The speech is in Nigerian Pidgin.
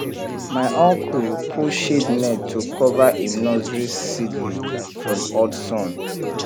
my uncle put shade net to cover him nursery seedling from hot sun